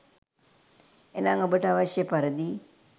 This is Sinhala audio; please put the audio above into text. එනම් ඔබට අවශ්‍ය පරිදි